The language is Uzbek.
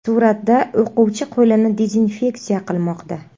Suratda o‘quvchi qo‘lini dezinfeksiya qilmoqda.